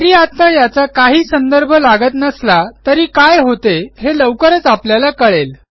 जरी आत्ता याचा काही संदर्भ लागत नसला तरी काय होते हे लवकरच आपल्याला कळेल